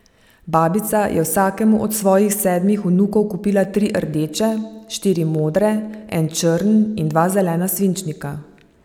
Babica je vsakemu od svojih sedmih vnukov kupila tri rdeče, štiri modre, en črn in dva zelena svinčnika.